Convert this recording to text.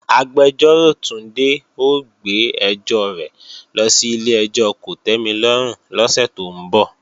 Agbẹjọ́rò Túndé ó gbé ẹjọ́ rẹ̀ lọ sí ilé-ẹjọ́ kòtẹ́milọ́rùn lọ́sẹ̀ tó ń bọ̀